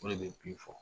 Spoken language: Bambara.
O de bɛ bin fɔ